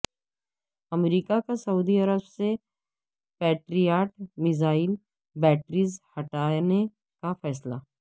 امریکہ کا سعودی عرب سے پیٹریاٹ میزائل بیٹریز ہٹانے کا فیصلہ